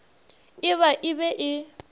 e ba e be e